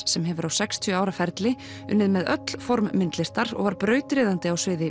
sem hefur á sextíu ára ferli unnið með öll form myndlistar og var brautryðjandi á sviði